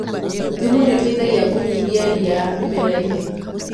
Thumu nĩũteithagia kũnyihia ria mĩmerainĩ.